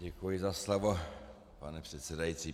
Děkuji za slovo, pane předsedající.